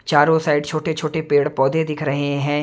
चारों साइड छोटे छोटे पेड़ पौधे दिख रहे हैं।